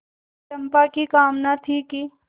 चंपा की कामना थी कि